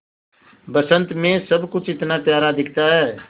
बसंत मे सब कुछ इतना प्यारा दिखता है